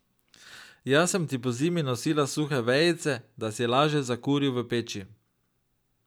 Jaz sem ti pozimi nosila suhe vejice, da si laže zakuril v peči.